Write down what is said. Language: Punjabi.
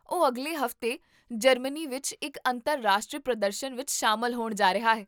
ਉਹ ਅਗਲੇ ਹਫ਼ਤੇ ਜਰਮਨੀ ਵਿੱਚ ਇੱਕ ਅੰਤਰਰਾਸ਼ਟਰੀ ਪ੍ਰਦਰਸ਼ਨ ਵਿੱਚ ਸ਼ਾਮਲ ਹੋਣ ਜਾ ਰਿਹਾ ਹੈ